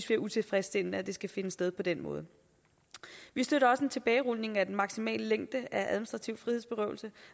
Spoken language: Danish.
det er utilfredsstillende at det skal finde sted på den måde vi støtter også en tilbagerulning af den maksimale længde af administrativ frihedsberøvelse